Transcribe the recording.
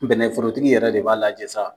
Bɛnɛforotigi yɛrɛ de b'a lajɛ sa.